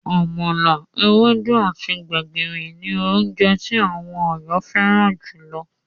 Àmàlà, ewédú, àti gbẹ̀gìrì ní oúnje tí àwọn Ọ̀yọ́ fẹ́ràn júlọ.